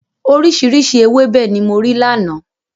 Oríṣiríṣi ewébẹ̀ ni mo rí lánàá.